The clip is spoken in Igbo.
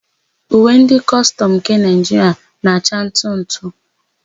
Uwe ndị kọstọmụ nke Naịjiria na-acha ntụ ntụ.